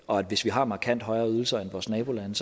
og at hvis vi har markant højere ydelser end vores nabolande